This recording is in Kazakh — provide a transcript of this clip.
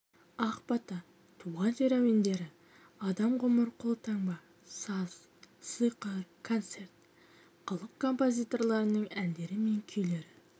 ақ бата туған жер әуендері адам ғұмыр қолтаңба саз сиқыр концерт халық композиторларының әндері мен күйлері